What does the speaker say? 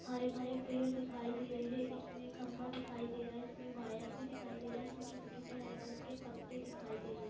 हरे भरे पेड़ दिखाई दे रहे | इसमें खम्भा दिखाई दे रहा | इसमें वायर भी दिखाई दे रहा है | इसमें छोटे - छोटे हरे कलर के पत्ते दिखाई दे रहे ।